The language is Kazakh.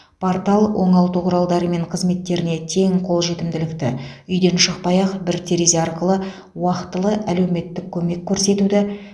портал оңалту құралдары мен қызметтеріне тең қолжетімділікті үйден шықпай ақ бір терезе арқылы уақытылы әлеуметтік көмек көрсетуді